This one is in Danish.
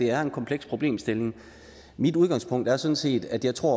er en kompleks problemstilling mit udgangspunkt er sådan set at jeg tror